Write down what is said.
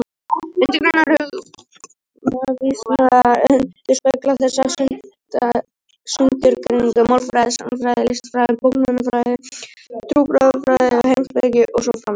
Undirgreinar hugvísinda endurspegla þessa sundurgreiningu: málfræði, sagnfræði, listfræði, bókmenntafræði, trúarbragðafræði, heimspeki og svo framvegis.